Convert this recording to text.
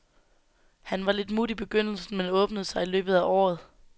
Han var lidt mut i begyndelsen, men åbnede sig i løbet af året.